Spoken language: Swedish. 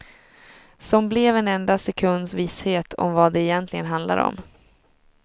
Som blev en enda sekunds visshet om vad det egentligen handlar om.